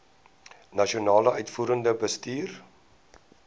nasionale uitvoerende bestuur